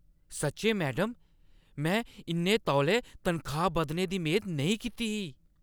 सच्चें, मैडम! में इन्ने तौले तनखाह् बधने दी मेद नेईं कीती ही!